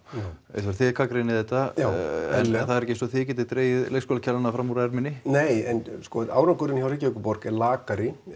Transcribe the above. Eyþór þið gagnrýnið þetta já eðlilega það er ekki eins og þið getið dregið leikskólakennara fram úr erminni nei en sko árangurinn hjá Reykjavíkurborg er lakari